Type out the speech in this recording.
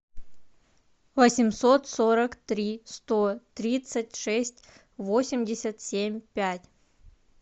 восемьсот сорок три сто тридцать шесть восемьдесят семь пять